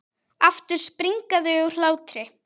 Aftur springa þau úr hlátri.